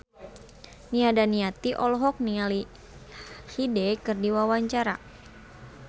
Nia Daniati olohok ningali Hyde keur diwawancara